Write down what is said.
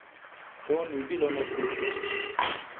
To ni bilo naključje.